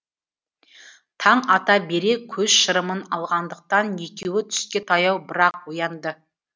таң ата бере көз шырымын алғандықтан екеуі түске таяу бірақ оянды